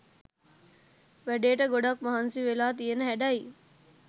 වැඩේට ගොඩක් මහන්සි වෙලා තියන හැඩයි.